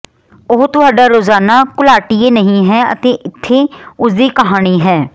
ਉਹ ਤੁਹਾਡਾ ਰੋਜ਼ਾਨਾ ਘੁਲਾਟੀਏ ਨਹੀਂ ਹੈ ਅਤੇ ਇੱਥੇ ਉਸਦੀ ਕਹਾਣੀ ਹੈ